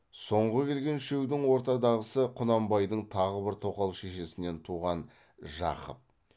соңғы келген үшеудің ортадағысы құнанбайдың тағы бір тоқал шешесінен туған жақып